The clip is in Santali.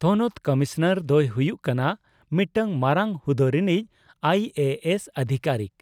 ᱛᱷᱚᱱᱚᱛ ᱠᱚᱢᱚᱥᱚᱱᱟᱨ ᱫᱚᱭ ᱦᱩᱭᱩᱜ ᱠᱟᱱᱟ ᱢᱤᱫᱴᱟᱝ ᱢᱟᱨᱟᱝ ᱦᱩᱫᱳ ᱨᱮᱱᱤᱡ ᱟᱭᱹᱮᱹᱮᱥᱹ ᱟᱫᱷᱤᱠᱟᱨᱤᱠ᱾